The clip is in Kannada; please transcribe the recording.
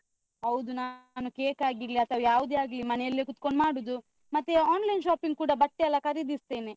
ಹೌದು ನಾನು cake ಆಗಿರ್ಲಿ ಅಥವಾ ಯಾವ್ದೆ ಆಗ್ಲಿ ಮನೆಲ್ಲೇ ಕುತ್ಕೊಂಡು ಮಾಡುದು. ಮತ್ತೇ online shopping ಕೂಡ ಬಟ್ಟೆ ಎಲ್ಲ ಖರೀದಿಸ್ತೇನೆ.